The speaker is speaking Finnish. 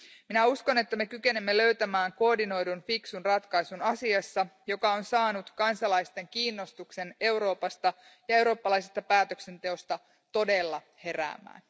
Minä uskon, että me kykenemme löytämään koordinoidun, fiksun ratkaisun asiassa, joka on saanut kansalaisten kiinnostuksen Euroopasta ja eurooppalaisesta päätöksenteosta todella heräämään.